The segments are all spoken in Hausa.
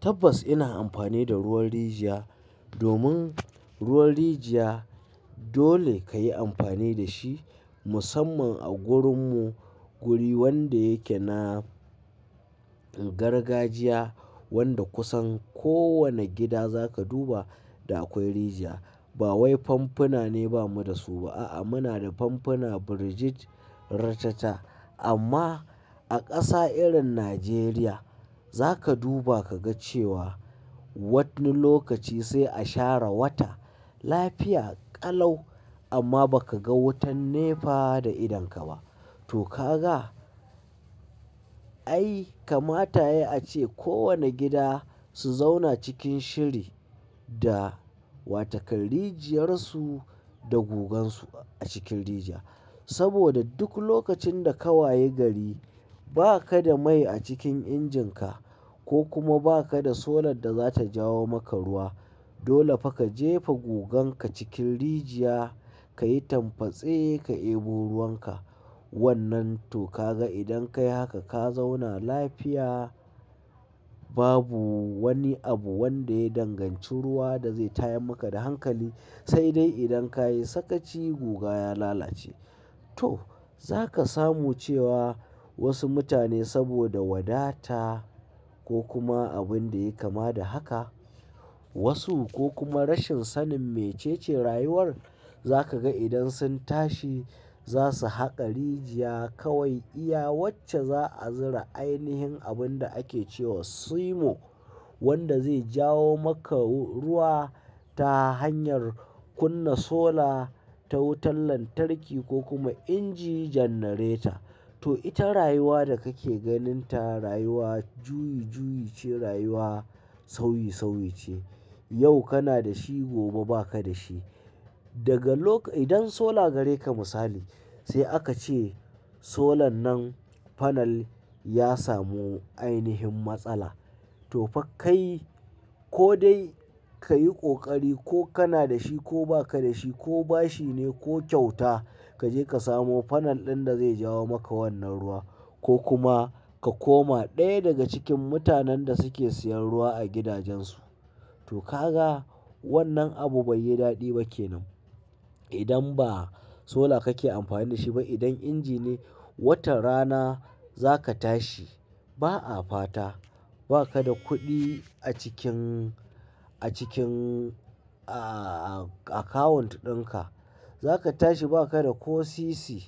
Tabbas ina amfani da ruwan rijiya. Domin ruwan rijiya, dole ka yi amfani da shi musamman a garinmu. Guri wanda yake na gargajiya wanda kusan kowane gida za ka duba da akwai rijiya. Ba wai famfuna ne ba mu da su ba a'a muna da famfuna Birijit ratata amma, a ƙasa irin Najeriya, za ka duba ka ga cewa wanni lokaci sai a share wata lafiya ƙalau amma ba ka ga wutan nefa da idonka ba. To ka ga? Ai kamata ya a ce kowane gida su zauna cikin shiri da watakan rijiyar su da gugansu a cikin rijiya. Saboda duk lokacin da ka waye, gari ba ka da mai a cikin injinka, ko kuma ba ka da solar da zata jawo maka ruwa. Dole fa ka jefa guganka cikin rijiya ka yi tambatse ka deɓo ruwan ka. Wannan to ka ga idan ka yi haka, to ka zauna lafiya babu wani abu wanda ya danganci ruwa da zai tayar maka da hankali. Sai dai idan ka yi sakaci guga ya lalace. To. Za ka samu cewa wasu mutane saboda wadata ko kuma abin da ya kama da haka wasu ko kuma rashin sanin mece ce rayuwar, za ka ga idan sun tashi za su haƙa rijiya kawai iya wacce za a zira. Ainihin abin da ake cewa "sumo" wanda zai jawo maka ruwa ta hanyar kunna solar, ta wutan lantarki, ko kuma inji janareta. To ita rayuwa da kake ganin ta rayuwa juyi juyi ce rayuwa sauyi sauyi ce. Yau kana da shi gobe ba ka da shi. Daga loka-- idan solar gareka misali, sai aka ce solar dinnan fanal ya samu ainihin matsala. To fa kai ko dai ka yi ƙoƙari ko kana da shi ko ba ka da shi ko bashi ne ko kyauta ka je ka samo fanal ɗin da zai jawo maka wannan ruwa ko kuma ka koma ɗaya daga cikin mutanen da suke siyan ruwa a gidajensu. To ka ga wannan abu bai yi daɗi ba kenan. Idan ba solar kake amfani da shi ba idan inji ne, wata rana za ka tashi ba a fata ba ka da kuɗi a cikin, a cikin a, a account ɗinka. Za ka tashi ba ka da ko sisi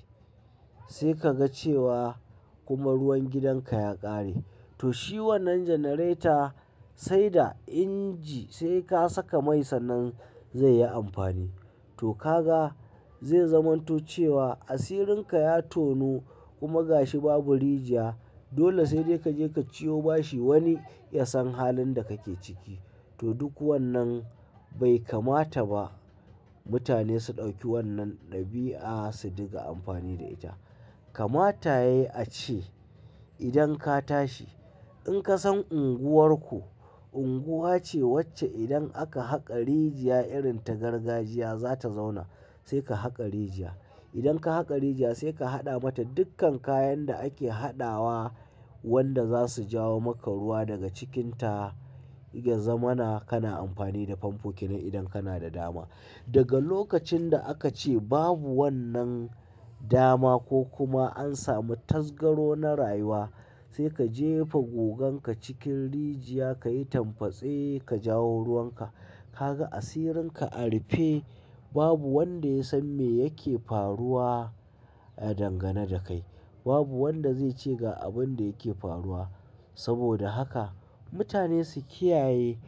sai ka ga cewa kuma ruwan gidan ka ya ƙare. To shi wannan janareta sai da inji sai ka saka mai sannan zai yi amfani. To ka ga zai zamanto cewa asirin ka ya tonu. Kuma gashi babu rijiya. Dole sai dai ka je ka ciyo bashi wani ya san halin da kake ciki. To duk wannan bai kamata ba mutane su ɗauki wannan ɗabi'a su dinga amfani da ita. Kamata yayi a ce, idan ka tashi in ka san unguwar ku unguwa ce wacce idan aka haƙa rijiya irin ta gargajiya za ta zauna sai ka haƙa rijiya. Idan ka haƙa rijiya sai ka haɗa mata dukkan kayan da ake haɗawa wanda za su jawo maka ruwa daga cikinta. Ya zamana kana amfani da famfoki nan idan kana da dama. Daga lokacin da aka ce babu wannan dama ko kuma an samu tasgaro na rayuwa, sai ka jefa goganka cikin rijiya ka yi tambatsa ka jawo ruwan ka. Ka ga asirin ka a rufe babu wanda ya san me yake faruwa a dangane da kai. Babu wanda zai ce ga abin da yake faruwa. Saboda haka mutane su kiyaye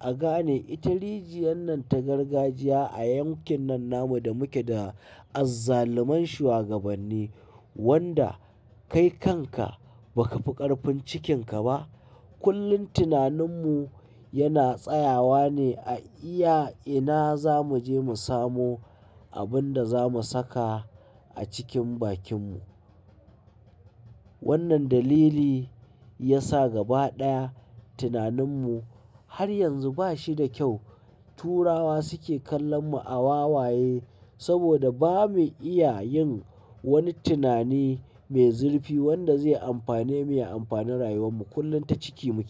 a gane ita rijiyar nan ta gargajiya a yankin nan namu da muke da azzaluman shugabanni wanda kai kanka ba ka fi ƙarfin cikinka ba. Kullum tinanin mu yana tsayawa ne a iya ina za mu je mu samu abin da za mu saka a cikin bakin mu. Wannan dalili ya sa gaba ɗaya tinanin mu har yanzu ba shi da kyau. Turawa suke kallon mu a wawaye saboda ba mu iya yin wani tunani mai zurfi wanda zai amfane mu ya amfani rayuwar mu kullum ta ciki muke.